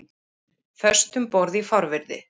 Föst um borð í fárviðri